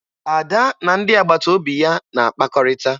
Ada na ndị agbataobi ya na-akpakọrịta